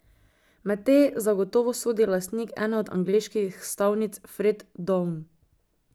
Med te zagotovo sodi lastnik ene od angleških stavnic Fred Done.